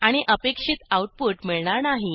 आणि अपेक्षित आऊटपुट मिळणार नाही